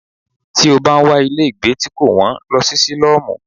Tí o bá ń wá ilé gbé tí kò wón, lọ sí sílọ́mù.